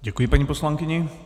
Děkuji paní poslankyni.